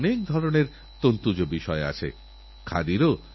আগামী দিন প্রযুক্তিনির্ভর আর প্রযুক্তি সততপরিবর্তনশীল